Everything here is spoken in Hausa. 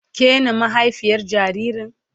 Ke na mahaifiyar jaririn?